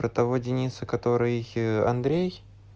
про того дениса который андрей